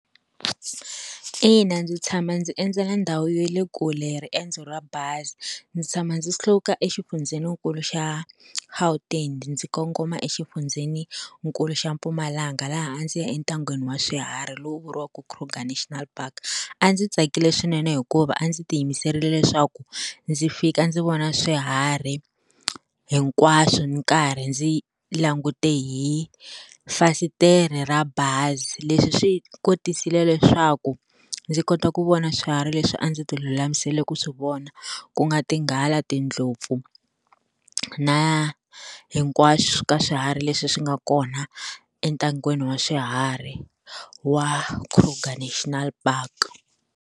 Ina ndzi tshama ndzi endzela ndhawu ya le kule hi riendzo ra bazi ndzi tshama ndzi suka exifundzhenikulu xa Gauteng ndzi kongoma exifundzhenikulu xa Mpumalanga laha a ndzi ya entangeni wa swiharhi lowu vuriwaka Krugar National Park a ndzi tsakile swinene hikuva a ndzi ti yimiserile leswaku ndzi fika ndzi vona swiharhi hinkwaswo ndzi nkarhi ndzi langute hi fasitere ra bazi leswi swi kotisile leswaku ndzi kota ku vona swihari leswi a ndzi ti lulamisela ku swi vona ku nga tinghala tindlopfu na hinkwaswo ka swiharhi leswi swi nga kona entangeni wa swiharhi wa Krugar National Park.